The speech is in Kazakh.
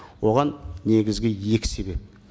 оған негізгі екі себеп